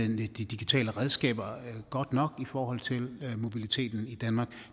de digitale redskaber godt nok i forhold til mobiliteten i danmark